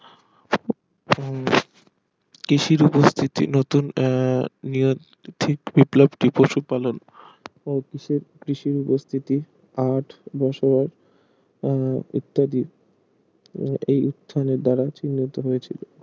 কৃষির উপস্থিতি নতুন আহ নিয়োগ তিথি বিপ্লবটি পশুপালন ও কষে কৃষির উপস্থিতি আট বছর আহ ইত্যাদির এই উত্থানের দ্বারা চিহ্নিত হয়েছিল